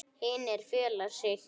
Hinir fela sig.